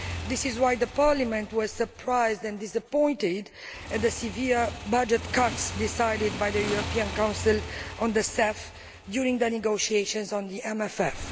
This is why Parliament was surprised and disappointed at the severe budget cuts decided by the European Council on the CEF during the negotiations on the MFF.